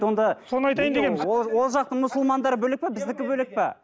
ол жақтың мұсымандары бөлек пе біздікі бөлек пе